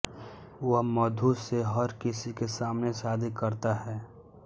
वह मधु से हर किसी के सामने शादी करता है